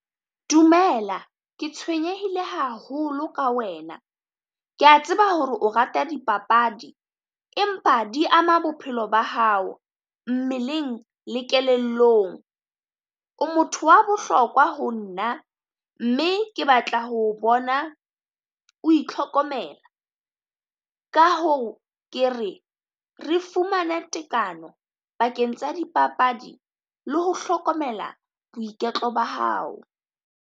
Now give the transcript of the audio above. Dumela ke tshwenyehile haholo ka wena, kea tseba hore o rata dipapadi empa di ama bophelo ba hao mmeleng le kelellong. O motho wa bohlokwa ho nna mme ke batla ho o bona o itlhokomela. Ka hoo ke re re fumane tekano pakeng tsa dipapadi le ho hlokomela boiketlo ba hao.